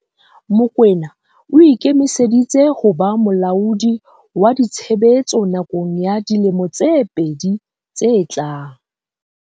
Mokoena o ikemiseditse ho ba molaodi wa ditshebetso nakong ya dilemo tse pedi tse tlang.